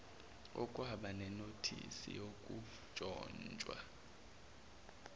okwaba nenothisi yokuntshontshwa